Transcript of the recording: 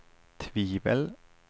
tvivel